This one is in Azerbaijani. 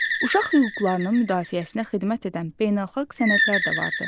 Uşaq hüquqlarının müdafiəsinə xidmət edən beynəlxalq sənədlər də vardır.